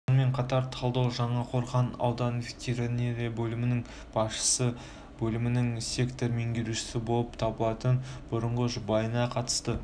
сонымен қатар талдау жаңақорған аудандық ветеринария бөлімінің басшысы бөлімінің сектор меңгерушісі болып табылатын бұрынғы жұбайына қатысты